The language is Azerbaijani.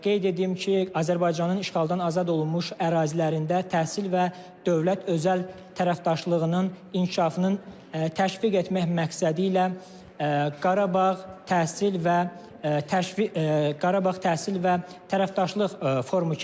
Qeyd edim ki, Azərbaycanın işğaldan azad olunmuş ərazilərində təhsil və dövlət özəl tərəfdaşlığının inkişafının təşviq etmək məqsədi ilə Qarabağ təhsil və tərəfdaşlıq forumu keçirilir.